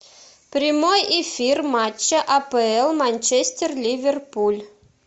прямой эфир матча апл манчестер ливерпуль